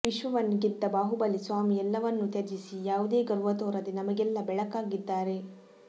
ವಿಶ್ವವನ್ನು ಗೆದ್ದ ಬಾಹುಬಲಿ ಸ್ವಾಮಿ ಎಲ್ಲವನ್ನು ತ್ಯಜಿಸಿ ಯಾವುದೇ ಗರ್ವ ತೋರದೆ ನಮಗೆಲ್ಲಾ ಬೆಳಕಾಗಿದ್ದಾರೆ